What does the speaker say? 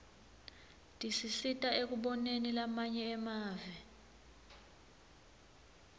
tisisita ekuboneni lamanye emave